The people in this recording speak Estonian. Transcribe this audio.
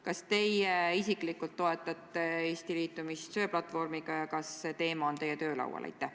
Kas teie isiklikult toetate Eesti liitumist söeplatvormiga ja kas see teema on teie töölaual?